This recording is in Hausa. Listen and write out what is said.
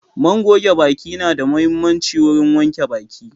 man goge baki na da muhimmanci wurin wanke baki.